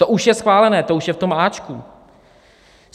To už je schválené, to už je v tom áčku.